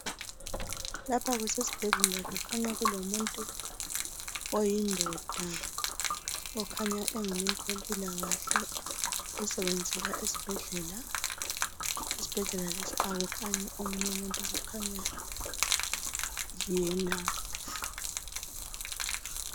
Lapha kusesibhedlela kukhanya kulomuntu oyindoda okhanya engumuntu wempilakahle osebenzela esibhedlela. Esibhedlela lesi akukhanyi omunye umuntu kukhanya yena.